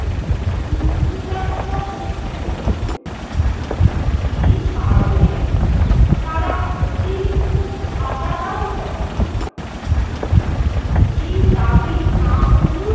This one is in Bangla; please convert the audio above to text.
যুদ্ধযাত্রা করতে হতো। এই কারণে তারা অতিরিক্ত ভাতা দাবি করে। এই দাবি না মঞ্জুর